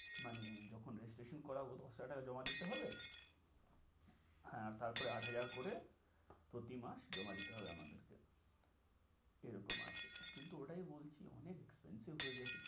মানে যখন registration করাবো দশ হাজার টাকা জমা হবে। হ্যাঁ তারপরে আট হাজার করে প্রতি মাস জমা দিতে হবে আমাদেরকে এরকম আছে, কিন্তু ওটাই বলছি অনেক expensive যাচ্ছে।